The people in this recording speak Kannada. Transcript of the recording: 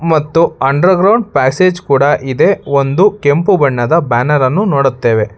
ಮತ್ತು ಅಂಡರ್ ಗ್ರೌಂಡ್ ಪ್ಯಾಸೆಜ್ ಕೂಡ ಇದೆ ಒಂದು ಕೆಂಪು ಬಣ್ಣದ ಬ್ಯಾನರ್ ಅನ್ನು ನೋಡುತ್ತೇವೆ.